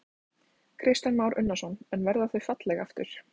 Kristján Már Unnarsson: En verða þau falleg aftur?